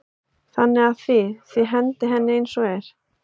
Þannig að þið, þið hendið henni eins og er?